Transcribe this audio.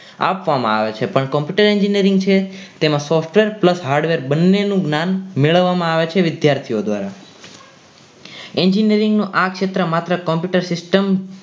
આપવામાં આવે છે પણ computer engineering છે તેમાં software Plus hardware બંનેનું જ્ઞાન મેળવવામાં આવે છે વિદ્યાર્થીઓ દ્વારા engineering નું આ ક્ષેત્ર માત્ર Computer System